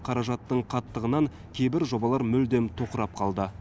қаражаттың қаттығынан кейбір жобалар мүлдем тоқырап қалды